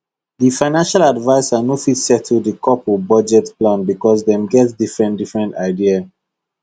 the financial adviser no fit settle the couple budget plan because dem get different different idea